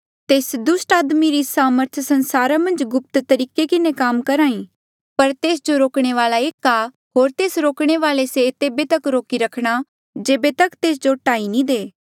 तेस दुस्ट आदमी री सामर्थ संसारा मन्झ गुप्त तरीके किन्हें काम करेया करहा ई पर तेस जो रोकणे वाल्आ एक आ होर तेस रोकणे वाले से तेबे तक रोकी रखणा जेबे तक तेस जो टाही नी दे